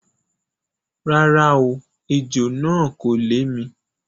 Rárá o, ejò náà kò lè mi.